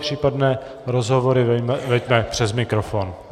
Případné rozhovory veďme přes mikrofon!